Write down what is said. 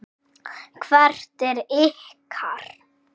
Hvert er ykkar?